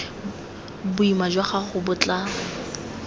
boima jwa gago bo tla